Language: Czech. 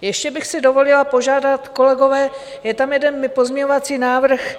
Ještě bych si dovolila požádat, kolegové: je tam jeden pozměňovací návrh,